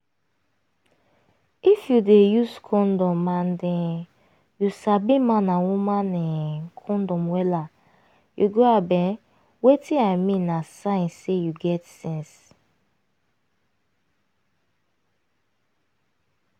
if you dey use condom and um you sabi man and woman um condom wella you grab um wetin i mean na sign say you get sense